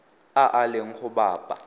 a a leng go bapa